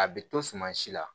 A bɛ to suma si la